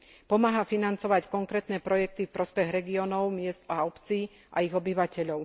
Pomáha financovať konkrétne projekty v prospech regiónov, miest a obcí a ich obyvateľov.